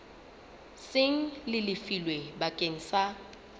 seng le lefilwe bakeng sa